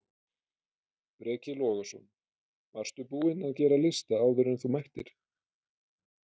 Breki Logason: Varstu búinn að gera lista áður en þú mættir?